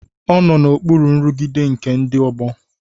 Ọ nọ n'okpuru nrụgide nke ndị ọgbọ.